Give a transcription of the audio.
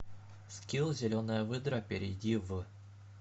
скилл зеленая выдра перейди в